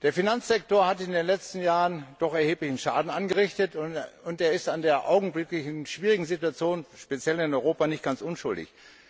Der Finanzsektor hat in den letzten Jahren doch erheblichen Schaden angerichtet, und er ist an der augenblicklichen schwierigen Situation, speziell in Europa, nicht ganz unschuldig.